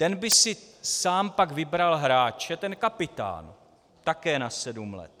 Ten by si sám pak vybral hráče, ten kapitán, také na sedm let.